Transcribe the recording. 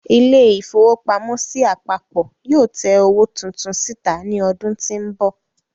ilé-ìfowópamọ́sí àpapọ̀ yóò tẹ owó titun síta ní ọdún tí ń bọ̀.